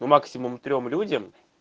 ну максимум трём людям